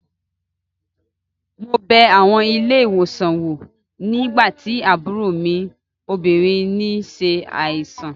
Mo bẹ àwọn ilé-ìwòsàn wò nígbà tí àbúrò mi obìnrin n ṣe àìsàn